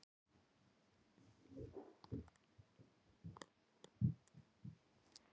Svo er dimmt, skelfilegt myrkur.